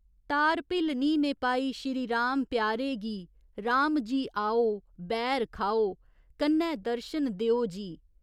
तार भिल्लनी ने पाई श्री राम प्यारे गी राम जी आओ, बैर खाओ, कन्नै दर्शन देओ जी।